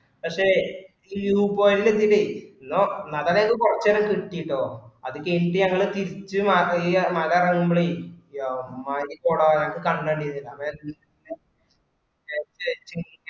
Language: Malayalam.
പക്ഷേ ഈ view point ൽ എത്തിട്ടേ കൊറച് കിട്ടീട്ടൊ അത് കഴിഞ്ഞിട്ട് ഞങ്ങള് മല ഇറങ്ങുമ്പളെ എമ്മാതിരി കോട ഞാക്ക്‌ കണ്ണ് കണ്ടീല്ല. വേഗം